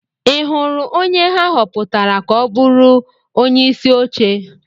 Ị hụrụ onye ha họpụtara ka ọ bụrụ onyeisi oche?